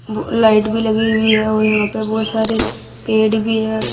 Light भी लगी हुई है और यहां पे बहोत सारे पेड़ भी है।